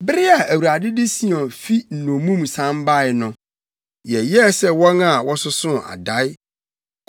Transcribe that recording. Bere a Awurade de Sion fi nnommum san bae no, yɛyɛɛ sɛ wɔn a wɔsosoo adae.